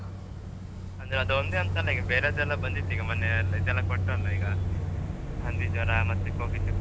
ಅಂದ್ರೆ ಅದ್ ಒಂದೇ ಅಂತಲ್ಲ ಬೇರೆದೆಲ್ಲ ಬಂದಿತೀಗ ಮೊನ್ನೇ ಎಲ್ ಇದ್ ಎಲ್ಲ ಈಗ ಕೊಟ್ಟ್ರಲ್ಲ ಈಗ ಹಂದಿ ಜ್ವರಾ ಮತ್ತೆ cold ಇದದ್ದು.